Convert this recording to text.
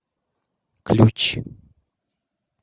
ключ